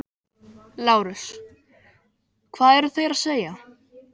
LÁRUS: Hvað eruð þér að segja?